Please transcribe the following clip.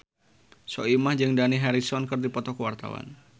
Soimah jeung Dani Harrison keur dipoto ku wartawan